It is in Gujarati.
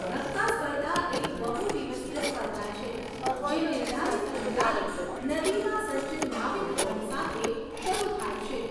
ધક્કા સ્પર્ધા એક બહુ દિવસીય સ્પર્ધા છે જે નિર્ધારિત અંતરાલે નદીમાં સજ્જ નાવિકગણ સાથે શરૂ થાય છે.